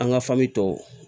An ka tɔw